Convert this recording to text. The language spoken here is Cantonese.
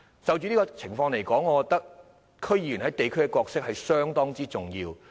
就這個案而言，我覺得區議員在地區的角色非常重要。